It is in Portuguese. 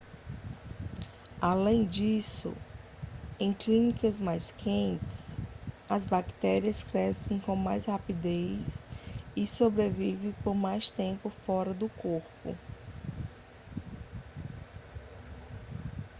além disso em climas mais quentes as bactérias crescem com mais rapidez e sobrevivem por mais tempo fora do corpo